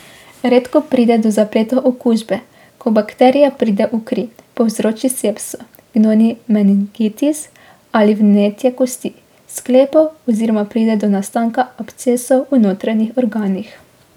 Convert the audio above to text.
Redko pride do zapletov okužbe, ko bakterija pride v kri, povzroči sepso, gnojni meningitis ali vnetje kosti, sklepov oziroma pride do nastanka abscesov v notranjih organih.